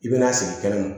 I bɛna sigi kɛnɛma